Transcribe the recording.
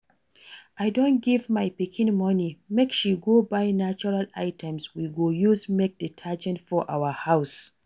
I don give my pikin money make she go buy natural items we go use make detergent for our house